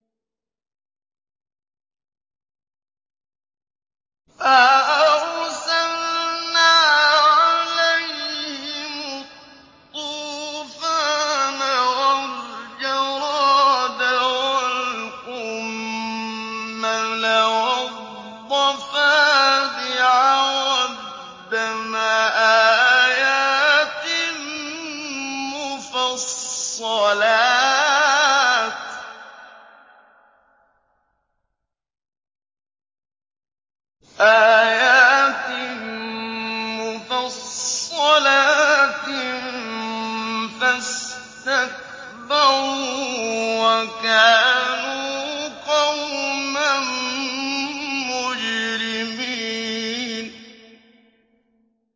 فَأَرْسَلْنَا عَلَيْهِمُ الطُّوفَانَ وَالْجَرَادَ وَالْقُمَّلَ وَالضَّفَادِعَ وَالدَّمَ آيَاتٍ مُّفَصَّلَاتٍ فَاسْتَكْبَرُوا وَكَانُوا قَوْمًا مُّجْرِمِينَ